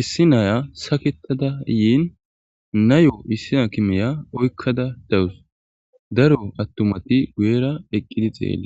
issi naya saketada yiin nayo issi aakimeya oykkada dawus daro attumati guyera eqqidi xeelle